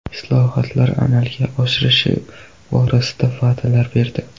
Islohotlar amalga oshirilishi borasida va’dalar berdi.